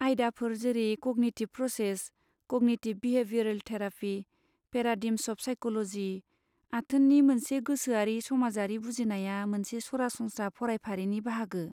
आयदाफोर जेरै cognitive process, cognitive behavioural therapy, paradigms of psychology, आथोननि मोनसे गोसोआरि समाजारि बुजिनाया मोनसे सरासनस्रा फरायफारिनि बाहागो।